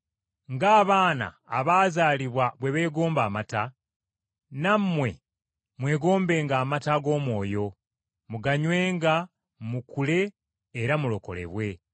Ng’abaana abaakazaalibwa bwe beegomba amata, nammwe mwegombenga amata ag’omwoyo, muganywenga mukule era mulokolebwe,